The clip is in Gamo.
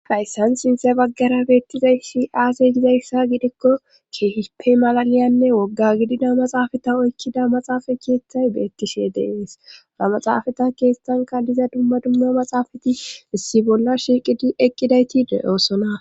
hayssan sinthe baggara beettizayshi aaze gizayssa gidikko keehipey malaliyanne wogga gidida maxaafata oykkida maxaafa keeththay beettishe deeeesnamaxaafata keestanka diza dumma dumma maxaafati issi bolla shiiqidi eqqidayti de7oosona